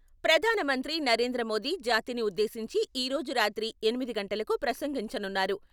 ప్రధాన మంత్రి నరేంద్ర మోదీ జాతిని ఉద్దేశించి ఈ రోజు రాత్రి ఎనిమిది గంటలకు ప్రసంగించనున్నారు.